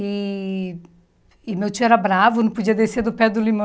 E e meu tio era bravo, não podia descer do pé do limão.